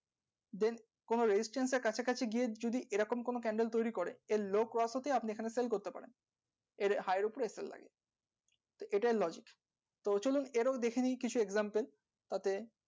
then কোনো resistance এর কাছাকাছি গিয়ে যদি এই রকম কোনো candle তৈরী করে এর low cross হতে আপনি এই খানে sell করতে পারেন এর high এর উপরে লাগে তো এটাই logic তো চলুন এটাও দেখেনি কিছু example তাতে